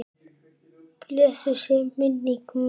Blessuð sé minning Möggu.